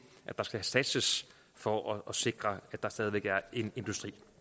at der skal satset for at sikre at der stadig væk er en